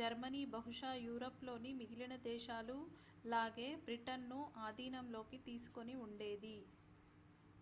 Germany బహుశా Europe లోని మిగిలిన దేశాలు లాగే బ్రిటన్ ను అధీనంలోకి తీసుకుని ఉండేది